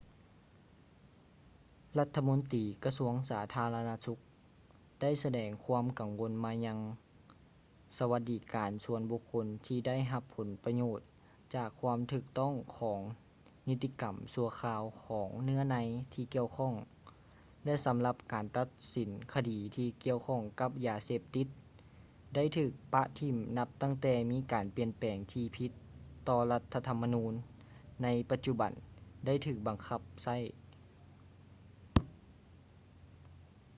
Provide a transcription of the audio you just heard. ລັດຖະມົນຕີກະຊວງສາທາລະນະສຸກໄດ້ສະແດງຄວາມກັງວົນມາຍັງສະຫວັດດີການສ່ວນບຸກຄົນທີ່ໄດ້ຮັບຜົນປະໂຫຍດຈາກຄວາມຖືກຕ້ອງຂອງນິຕິກຳຊົ່ວຄາວຂອງເນື້ອໃນທີ່ກ່ຽວຂ້ອງ ແລະ ສຳລັບການຕັດສິນຄະດີທີ່ກ່ຽວຂ້ອງກັບຢາເສບຕິດໄດ້ຖືກປະຖິ້ມນັບຕັ້ງແຕ່ມີການປ່ຽນແປງທີ່ຜິດຕໍ່ລັດຖະທໍາມະນູນໃນປັດຈຸບັນໄດ້ຖືກບັງຄັບໃຊ້